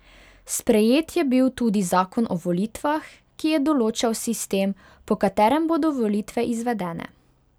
Sprejet je bil tudi zakon o volitvah, ki je določal sistem, po katerem bodo volitve izvedene.